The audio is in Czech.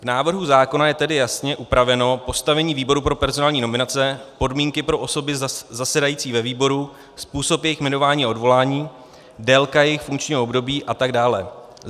V návrhu zákona je tedy jasně upraveno postavení výboru pro personální nominace, podmínky pro osoby zasedající ve výboru, způsob jejich jmenování a odvolání, délka jejich funkčního období atd.